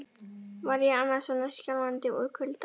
Var ég annars svona skjálfandi úr kulda?